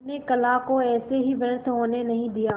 अपने कला को ऐसे ही व्यर्थ होने नहीं दिया